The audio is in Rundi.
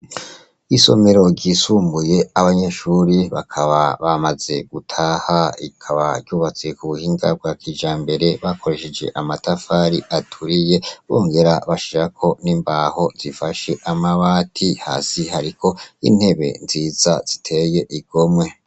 Isomero ryisumbuye abanyeshure bakaba bamaze gutaha rikaba ryubatse kubuhinga bwa kijambere bakoresheje amatafari aturiye bongera bashirako imbaho zifashe amabati hasi hariko intebe nziza ziteyeko igomwe